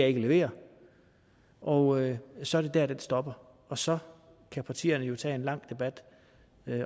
ikke levere og så er det der den stopper og så kan partierne jo tage en lang debat